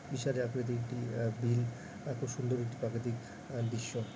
বিশাল আকৃতির একটি আহ বিল এতো সুন্দর একটি প্রাকৃৃতিক আহ দৃশ্য |